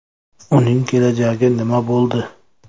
Uning kelajagi nima bo‘ldi?